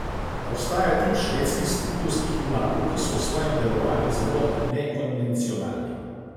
Obstaja tip švedskih stripovskih junakov, ki so v svojem delovanju zelo nekonvencionalni.